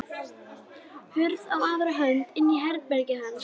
Hurð á aðra hönd inn í herbergið hans.